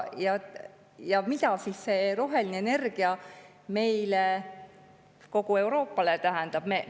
Ja mida siis see roheline energia meile, kogu Euroopale tähendab?